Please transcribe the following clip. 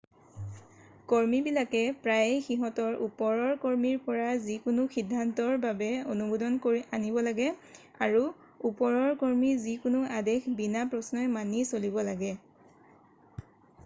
কৰ্মীবিলাকে প্ৰায়ে সিহঁতৰ ওপৰৰ কৰ্মীৰ পৰা যিকোনো সিদ্ধান্তৰ বাবে অনুমোদন আনিব লাগে আৰু ওপৰৰ কৰ্মীৰ যিকোনো আদেশ বিনা প্ৰশ্নই মানি চলিব লাগে